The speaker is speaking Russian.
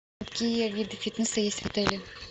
какие виды фитнеса есть в отеле